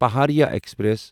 Pahariya express